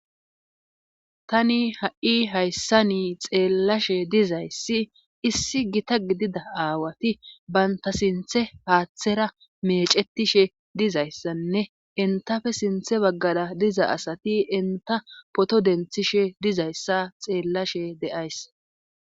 Tani ha,i hayssa ni xeellashe dizayssi issi gita gidida aawati baynta sinthe haaththera meecetishe dizayssanne entafe sinthe baggada diza asati enta poto denthishe dizayssa xeellashe de,ays.